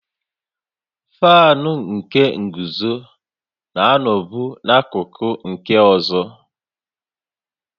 Faanụ nke nguzo na-anọbu n'akụkụ nke ọzọ